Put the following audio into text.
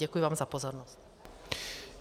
Děkuji vám za pozornost.